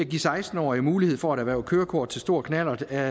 give seksten årige mulighed for at erhverve kørekort til stor knallert er